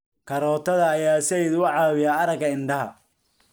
Karootada ayaa said uu caawiya araga indhaha